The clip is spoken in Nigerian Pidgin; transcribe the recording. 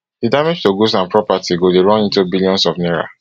di damage to goods and property go dey run into billions of naira